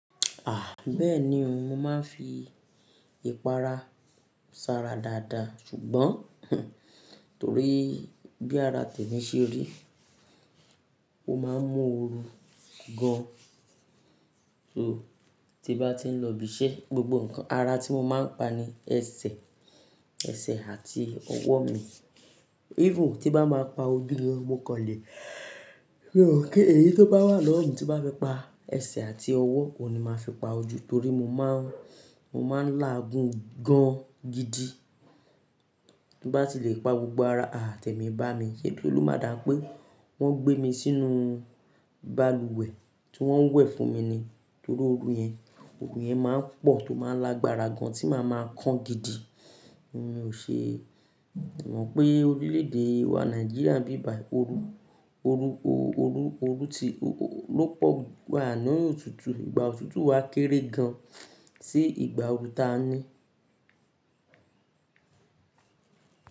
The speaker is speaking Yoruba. Ah! Bẹ́ẹ̀ni o, mo máa ń fi ìpara ṣara dáadáa, ṣùgbọ́n torí bí ara temí ṣe rí, o máa ń mú oru gan. So, tí bá ti ń lọ ibi iṣẹ́, ara tí mo máa ń pa ni ẹsẹ̀, ẹsẹ̀ àti ọwọ́ mi. Even, tí bá máa pa oju-mi-ni mo kanle, mo ma pe èyí tó bá wà lọ́wọ́ mi tí bá fi pa ẹsẹ̀ àti ọwọ́ òun ni máa fi pa ojú torí mo máa ń, mo máa ń láàgun gan gidi. Bí bá ti lè pa gbogbo ara temí bá mi, ṣe lo máa dà pé wọ́n gbé mi sínú balùwẹ̀ tí wọ́n ń wẹ̀ fún mi ni torí orun yẹn, orun yẹn máa ń pọ̀ tó máa ń lágbára gan tí màá máa kan gidi. N o ṣe, o máa pé orílè-èdè wa Nigeria bíbàì oru, oru, oru, oru tí ló pọ̀, à ní òun òtútù, ìgbà òtútù wa kéré gan sí ìgbà ooru táa ní.